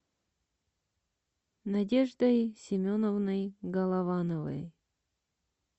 надеждой семеновной головановой